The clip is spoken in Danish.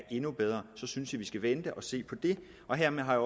endnu bedre så synes jeg at vi skal vente og se på det hermed har